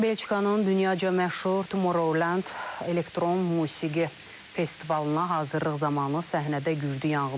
Belçikanın dünyaca məşhur Tomorrowland elektron musiqi festivalına hazırlıq zamanı səhnədə güclü yanğın olub.